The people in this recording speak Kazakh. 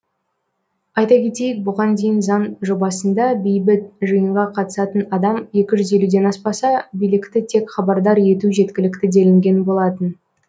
айта кетейік бұған дейін заң жобасында бейбіт жиынға қатысатын адам екі жүз елуден аспаса билікті тек хабардар ету жеткілікті делінген болатын